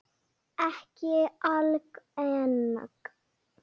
Ekki algeng.